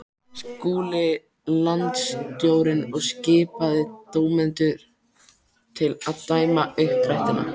Skuli landsstjórnin og skipa dómendur til að dæma uppdrættina.